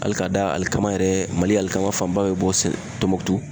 Hali ka da alikama yɛrɛ ,mali alikama fanba bɛ bɔ Tɔnbɔkutu.